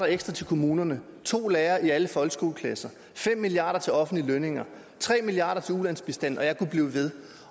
ekstra til kommunerne to lærere i alle folkeskoleklasser fem milliard kroner til offentlige lønninger tre milliard kroner til ulandsbistanden og jeg kunne blive ved